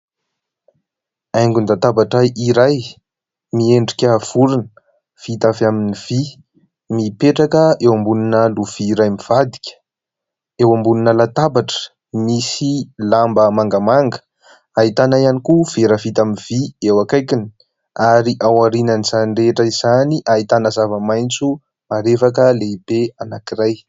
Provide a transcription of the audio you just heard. Haingon-databatra iray miendrika vorona, vita avy amin'ny vy mipetraka eo ambonina lovia iray mivadika. Eo ambonina latabatra misy lamba mangamanga. Ahitana ihany koa vera vita amin'ny vy eo akaikiny, ary ao aorianan'izany rehetra izany ahitana zavamaintso marevaka lehibe anankiray.